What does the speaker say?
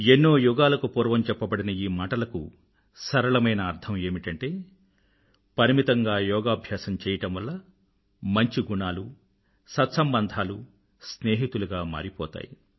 ఏన్నో యుగాలకు పూర్వం చెప్పబడిన ఈ మాటలకు సరళమైన అర్థం ఏమిటంటే పరిమితంగా యోగాభ్యాసం చెయ్యడం వల్ల మంచి గుణాలు సత్సంబంధాలు స్నేహితులుగ మారిపోతాయి